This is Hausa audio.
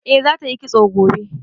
Eh za ta yi kitso gobe